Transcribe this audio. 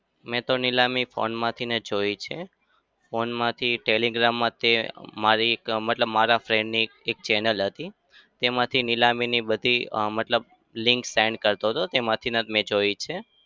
મેં તો નીલામી phone માંથી જ જોઈ છે. phone માંથી telegram માંથી મારી એક મતલબ મારા friend ની એક એક channel હતી. તેમાંથી નીલામીની બધી મતલબ અમ link send કરતો હતો. તેમાંથી જ મેં જોઈ છે.